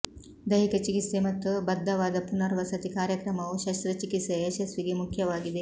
ದೈಹಿಕ ಚಿಕಿತ್ಸೆ ಮತ್ತು ಬದ್ಧವಾದ ಪುನರ್ವಸತಿ ಕಾರ್ಯಕ್ರಮವು ಶಸ್ತ್ರಚಿಕಿತ್ಸೆಯ ಯಶಸ್ಸಿಗೆ ಮುಖ್ಯವಾಗಿದೆ